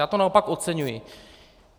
Já to naopak oceňuji.